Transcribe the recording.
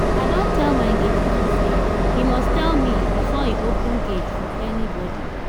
i don tell my gate man say he must tell me before he open gate for anybody